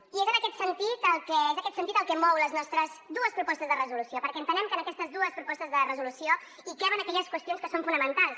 i és aquest sentit el que mou les nostres dues propostes de resolució perquè entenem que en aquestes dues propostes de resolució hi caben aquelles qüestions que són fonamentals